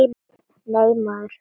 Nei, maður!